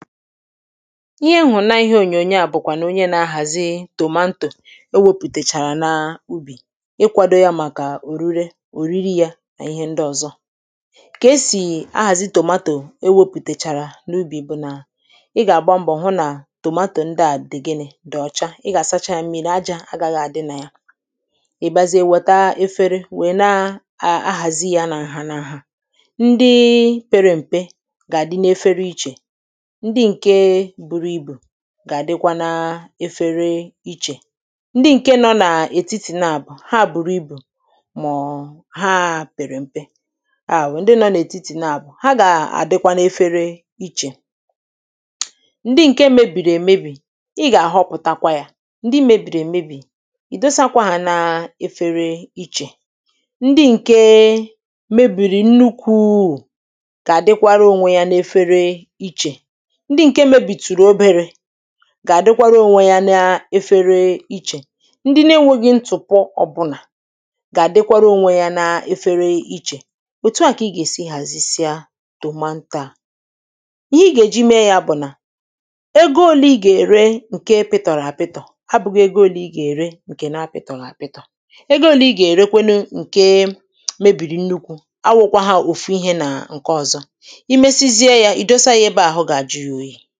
ihe ṅụ̀nna ihe ònyònyo à bụ̀kwà na onye na-ahàzi tòmanto ewėpụ̀tàchàrà na ubì ịkwado yȧ màkà orire òriri yȧ nà ihe ndị ọ̀zọ kà esì ahàzi tòmatò ewepụ̀tèchàrà n’ubì bụ̀ nà ị gà-àgba mbọ̀ hụ nà tomato ndị à dị̀ gịnị̇ dị̀ ọchá ị gà-àsacha yȧ mmịrị àjà agaghị à dị nà ya ị̀ biazie weta efere wèe na-ahàzi yȧ nà ǹhànààhà ndị pere m̀pe gà-àdị n’ efere ichè gà-àdịkwa n’ efere ichè ndị ǹke nọ nà ètitì naàbụ̀ ha bùrù ibù màọ̀ọ̀ ha pèrè m̀pe ha wèe ndị nọ n’ètitì naàbụ̀ ha gà-àdịkwa n’efere ichè ndị ǹke mebìrì èmebì ị gà-àhọpụ̀takwa yȧ ndi mebìrì èmebì ì dosakwa n’efere ichè ndị ǹke mebìrì nnukwuù gà-àdịkwara ònwe ya n’efere ichè gà-àdịkwara ònwe yȧ n’ efere ichè ndị na-enweghị̇ ntụ̀pọ ọ̀bụnà gà-àdịkwara ònwe yȧ n’efere ichè ètu à kà ị gà-èsi hàzisịa tòmaǹto à ihe ị gà-èji mee yȧ bụ̀ nà ego ole ị gà-ère ǹke pịtọ̀rọ̀ àpịtọ̀ abụghị ego ole ị gà-ère ǹkè na-apịtọ̀ghị̀ àpịtọ̀ ego ole ị gà-èrekwenu ǹke mebìrì nnukwu awụkwa ha òfu ihė nà ǹke ọ̀zọ i mesizie yȧ foto